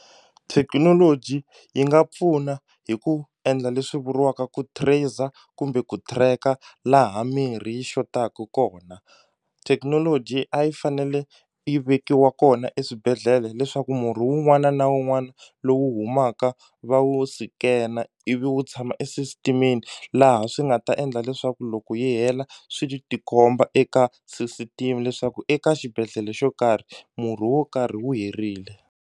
Thekinoloji yi nga pfuna hi ku endla leswi vuriwaka ku tracer kumbe ku tracker laha mirhi yi xotaku kona thekinoloji a yi fanele yi vekiwa kona eswibedhlele leswaku murhi wun'wana na wun'wana lowu humaka va wu sikena ivi wu tshama e system-ini laha swi nga ta endla leswaku loko yi hela swi tikomba eka ssystem leswaku eka xibedhlele xo karhi murhi wo karhi wu herile.